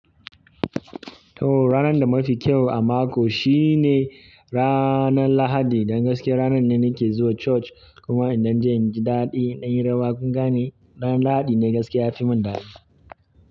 To ranan da mafi kyau a mako shine ranar lahadi. Dan gaskiya ranan ne nake zuwa church kuma inɗan inji daɗi inyi rawa kun gane? Ran lahadi ne gaskiya yafi mun daɗi.